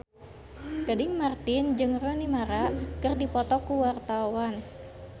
Gading Marten jeung Rooney Mara keur dipoto ku wartawan